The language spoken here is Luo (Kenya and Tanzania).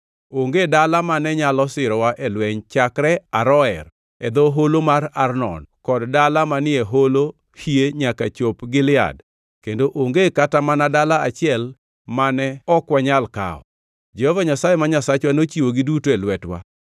Onge dala mane nyalo sirowa e lweny chakre Aroer, e dho holo mar Arnon kod dala manie holo hie nyaka chop Gilead kendo onge kata mana dala achiel mane ok wanyal kawo. Jehova Nyasaye ma Nyasachwa nochiwogi duto e lwetwa.